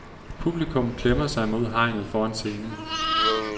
Publikum klemmer sig mod hegnet foran scenen.